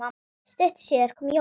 Stuttu síðar kom Jóakim.